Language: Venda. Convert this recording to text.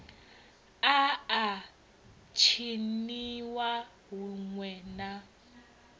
a a tshiniwa huṋwe na